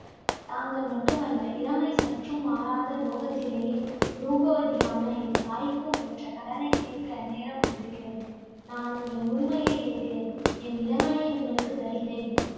தாங்கள் மட்டுமல்ல. இளமை சற்றும் மாறாத லோகத்திலேயே ரூபவதியான என் தாய்க்கும் பெற்ற கடனைத் தீர்க்க நேரம் வந்திருக்கிறது. நான் உங்கள் முதுமையை ஏற்கிறேன். என் இளமையை உங்களுக்கு தருகிறேன்.